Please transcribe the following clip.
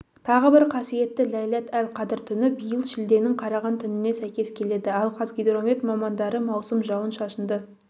тағы бір қасиетті ләйләт-әл-қадыр түні биыл шілденің қараған түніне сәйкес келеді ал қазгидромед мамандары маусым жауын-шашынды